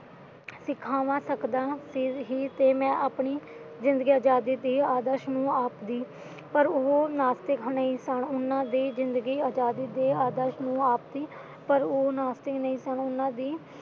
ਸਿਖਾਵਾਂ ਸਿੱਖਦਾ ਤੇ ਇਹੇ ਮੈਂ ਆਪਣੇ ਜਿੰਦਗੀ ਆਜ਼ਾਦੀ ਦੀ ਆਦਾਰਸ਼ ਨੀਏ ਆਖਦੀ ਪਰ ਉਹੋ ਨਾਸਤਿਕ ਹਮੇਸ਼ਾ ਉਹਨਾਂ ਦੀ ਜਿੰਦਗੀ ਆਜ਼ਾਦੀ ਦੇ ਅਦਾਰਸ਼ਨੀਏ ਆਖਦੀ ਪਰ ਉਹੋ ਨਾਸਤਿਕ ਨਹੀਂ ਸਨ ਉਹਨਾਂ ਦੀ